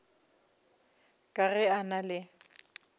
ka ge a na le